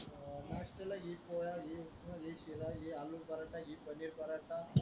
नाश्तालाघे पोहा घे शिरा घे आलूपराठा पनिरपराठा